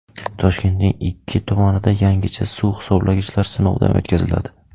Toshkentning ikki tumanida yangicha suv hisoblagichlar sinovdan o‘tkaziladi.